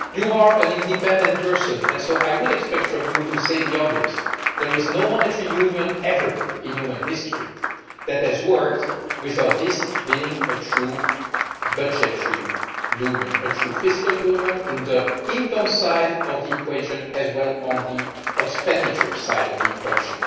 You are an independent person and so I would expect you to say the obvious there has been no monetary union, ever in human history, that has worked without being a true budgetary union, a true fiscal union on the income side of the equation as well as on the expenditure side of the equation.